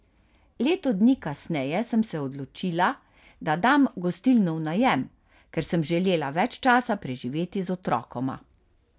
Leto dni kasneje sem se odločila, da dam gostilno v najem, ker sem želela več časa preživeti z otrokoma.